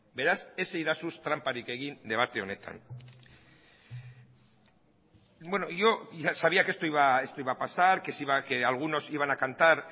beraz ez iezadazu tranparik egin debate honetan yo ya sabía que esto iba a pasar que si algunos iba a cantar